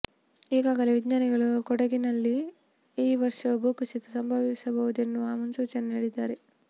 ಈಗಾಗಲೇ ವಿಜ್ಞಾನಿಗಳು ಕೊಡಗಿನಲ್ಲಿ ಈ ವರ್ಷವೂ ಭೂಕುಸಿತ ಸಂಭವಿಸಬಹುದೆನ್ನುವ ಮುನ್ಸೂಚನೆ ನೀಡಿದ್ದಾರೆ